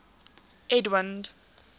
edwind